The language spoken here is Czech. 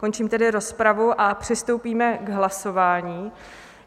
Končím tedy rozpravu a přistoupíme k hlasování.